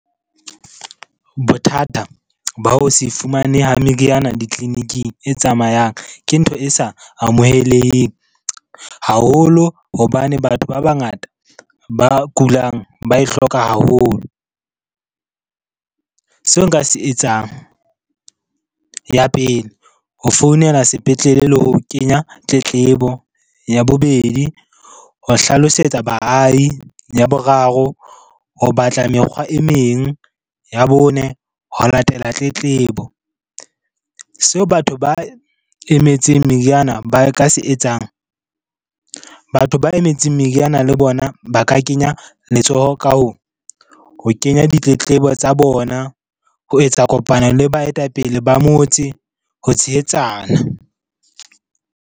Bothata ba ho se fumaneha meriana ditleliniking e tsamayang ke ntho e sa amoheleheng haholo hobane batho ba bangata ba kulang ba e hloka haholo. Seo nka se etsang. Ya pele, ho founela sepetlele le ho kenya tletlebo. Ya bobedi, ho hlalosetsa baahi. Ya boraro, ho batla mekgwa e meng. Ya bone, ho latela tletlebo. Seo batho ba emetseng meriana ba ka se etsang, batho ba emetseng meriana le bona ba ka kenya letsoho ka ho kenya ditletlebo tsa bona, ho etsa kopano le baetapele ba motse, ho tshehetsana.